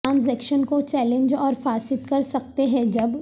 transaction کو challenge اور فاسد کر سکتے ہیں جب